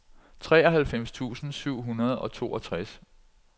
treoghalvfems tusind syv hundrede og toogtres